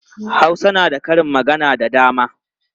Hausa na da karin magana da dama.